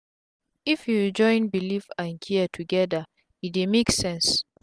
if u join belief and care togeda e dey make sense